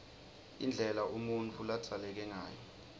indlela umuntfu ladzaleke ngayo